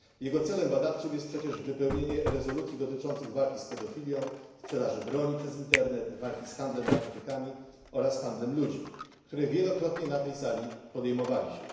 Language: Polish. Jego celem badawczym jest przecież wypełnienie rezolucji dotyczących walki z pedofilią, sprzedażą broni przez internet, walki z handlem narkotykami oraz handlem ludźmi, które to tematy wielokrotnie na tej sali podejmowaliśmy.